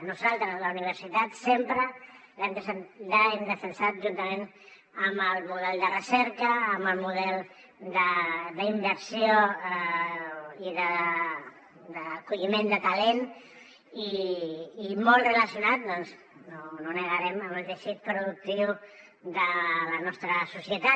nosaltres la universitat sempre l’hem defensat juntament amb el model de recerca amb el model d’inversió i d’acolliment de talent i molt relacionat no ho negarem amb el teixit productiu de la nostra societat